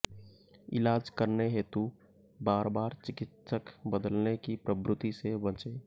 इलाज करने हेतु बारबार चिकित्सक बदलने की प्रवृत्ति से बचें